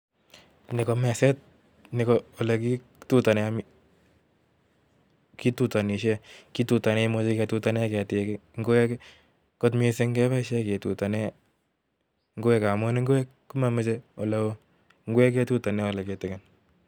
Ni komeset, ni ko ole kitutane, kitutanishie. Kitutane, imuchi kitutane ketik, ngwek, kot missing keboisie kitutane ngwek amu ngwek komamachei ole oo, ngwek ketutane ole kitikin